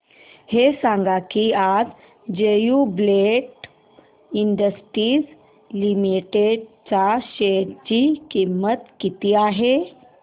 हे सांगा की आज ज्युबीलेंट इंडस्ट्रीज लिमिटेड च्या शेअर ची किंमत किती आहे